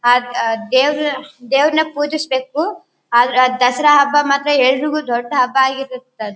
ಅಹ್ ದ್ ದೇವ್ರ್ ದೇವ್ರನ್ ಪೂಜಿಸ ಬೇಕು ಆದ್ರೆ ಆ ದಸರಾ ಹಬ್ಬ ಮಾತ್ರ ಎಲ್ರಿಗೂ ದೊಡ್ಡ ಹಬ್ಬ ಆಗಿರುತ್ತ--